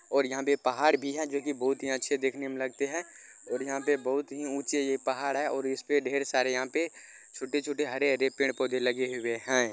और यहाँ पे पहाड़ भी है जोकी बहोत ही अच्छे दिखने में लगते हैं| और यहाँ पे बहोत ही ऊँचे ये पहाड़ है और ईसपे ढेर सारे यहाँ पे छोटे-छोटे हरे-हरे पेड़-पौधे लगे हुए हैं।